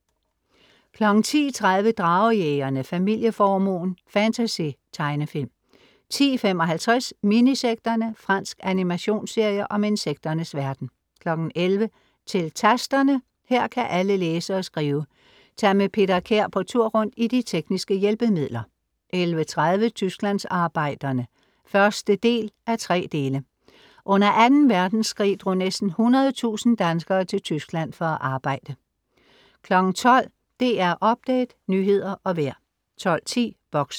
10:30 Dragejægerne. Familieformuen. Fantasy-tegnefilm 10:55 Minisekterne. Fransk animationsserie om insekternes verden 11:00 Til Tasterne, her kan alle læse og skrive. Tag med Peter Kær på tur rundt i de tekniske hjælpemidler 11:30 Tysklandsarbejderne (1:3) Under 2. Verdenskrig drog næsten 100.000 danskere til Tyskland for at arbejde 12:00 DR Update, nyheder og vejr 12:10 Boxen